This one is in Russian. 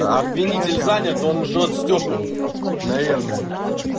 а обвинитель занят он жжёт стёпу наверное